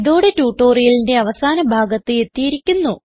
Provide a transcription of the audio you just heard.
ഇതോടെ ട്യൂട്ടോറിയലിന്റെ അവസാന ഭാഗത്ത് എത്തിയിരിക്കുന്നു